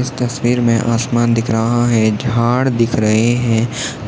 इस तस्वीर मे आसमान दिख रहा है झाड दिख रहे है